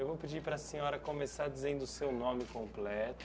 Eu vou pedir para a senhora começar dizendo o seu nome completo.